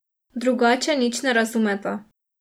Drugače nič ne razumeta.